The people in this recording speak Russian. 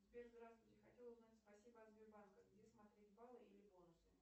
сбер здравствуйте хотела узнать спасибо от сбербанка где смотреть баллы или бонусы